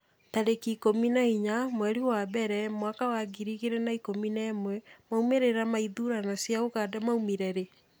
tarĩki ikũmi na inya mweri wa mbere mwaka wa ngiri igĩrĩ na ikũmi na ĩmwemaumĩrĩra ma ithurano cia Uganda maumire rĩ?